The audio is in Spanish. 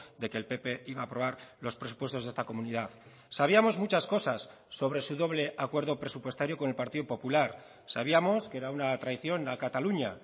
de que el pp iba a aprobar los presupuestos de esta comunidad sabíamos muchas cosas sobre su doble acuerdo presupuestario con el partido popular sabíamos que era una traición a cataluña